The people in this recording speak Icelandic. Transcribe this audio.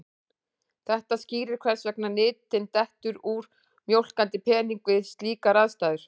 Þetta skýrir hvers vegna nytin dettur úr mjólkandi peningi við slíkar aðstæður.